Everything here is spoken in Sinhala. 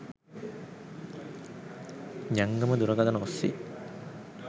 ජංගම දුරකථන ඔස්සේ